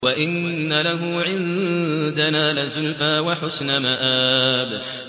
وَإِنَّ لَهُ عِندَنَا لَزُلْفَىٰ وَحُسْنَ مَآبٍ